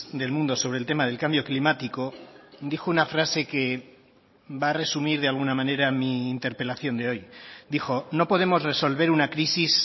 del mundo sobre el tema del cambio climático dijo una frase que va a resumir de alguna manera mi interpelación de hoy dijo no podemos resolver una crisis